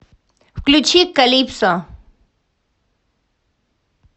включи калипсо